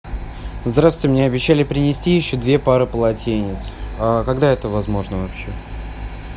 здравствуйте мне обещали принести еще две пары полотенец когда это возможно вообще